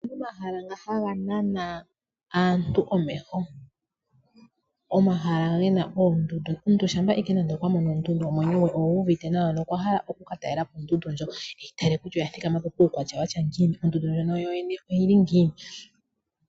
Opuna omahala nga haga nana omeho gaantu. Omahala nga gena oondundu . Omuntu shampa ashike nande okwa mono ondundu omwenyo gwe ogu uvite nawa ano okwa hala ashike oku ka talelapo ondundu ndjo. Eyi tale kutya oya thikamappo kuukwatya wuli ngiini, ondundu ndjono ano oyili ngiini.